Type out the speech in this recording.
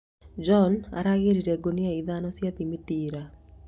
John aragĩrire ngunia ithano cia thimiti ira